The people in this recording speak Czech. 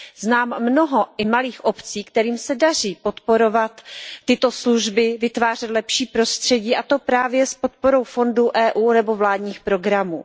Znám mnoho i malých obcí, kterým se daří podporovat tyto služby, vytvářet lepší prostředí, a to právě s podporou fondů Evropské unie nebo vládních programů.